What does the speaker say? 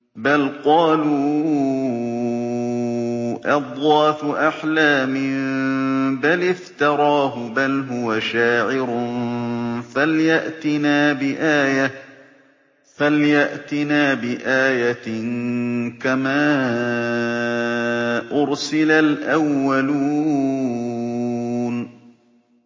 بَلْ قَالُوا أَضْغَاثُ أَحْلَامٍ بَلِ افْتَرَاهُ بَلْ هُوَ شَاعِرٌ فَلْيَأْتِنَا بِآيَةٍ كَمَا أُرْسِلَ الْأَوَّلُونَ